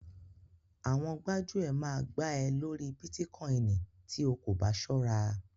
Àwọn gbájúẹ̀ máa gbá ẹ lórí Bítíkoìnì tí o kò bá ṣọ́ra.